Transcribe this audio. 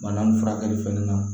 Bana nin furakɛli fɛnɛ na